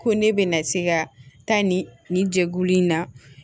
Ko ne bɛna se ka taa nin nin jɛkulu in na